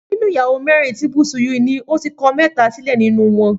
Nínú ìyàwó mẹ́rin tí Bùsúyì ní, ó ti kọ mẹ́ta sílẹ̀ nínú wọn